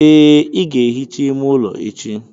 Ee, i ga-ehicha ime ụlọ echi.